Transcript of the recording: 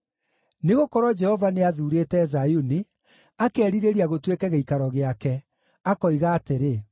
Nĩgũkorwo Jehova nĩathuurĩte Zayuni, akerirĩria gũtuĩke gĩikaro gĩake, akoiga atĩrĩ: